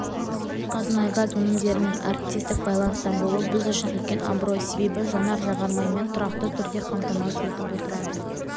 қазмұнайгаз өнімдерімен әріптестік байланыста болу біз үшін үлкен абырой себебі жанар-жағармаймен тұрақты түрде қамтасыз етіп отырады